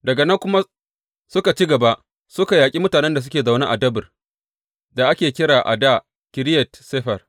Daga nan kuma suka ci gaba suka yaƙi mutanen da suke zaune a Debir da ake kira a dā Kiriyat Sefer.